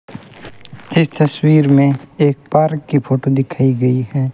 इस तस्वीर में एक पार्क की फोटो दिखाई गई है।